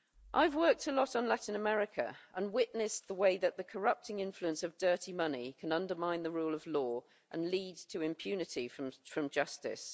I've worked a lot on Latin America and witnessed the way that the corrupting influence of dirty money can undermine the rule of law and lead to impunity from justice.